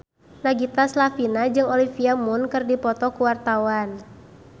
Nagita Slavina jeung Olivia Munn keur dipoto ku wartawan